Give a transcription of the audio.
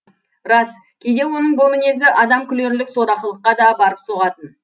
рас кейде оның бұл мінезі адам күлерлік сорақылыққа да барып соғатын